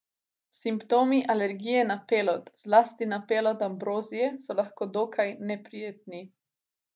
Simptomi alergije na pelod, zlasti na pelod ambrozije, so lahko dokaj neprijetni.